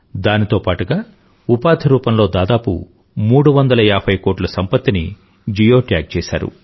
దానితో పాటుగా ఉపాధిరూపంలో దాదాపు 350కోట్లు సంపత్తిని జియో ట్యాగ్ చేశారు